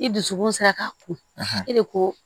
I dusukun sera k'a ko e de ko